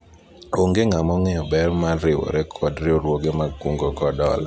onge ng'ama ong'eyo ber mar riwore kod riwruogego mag kungo kod hola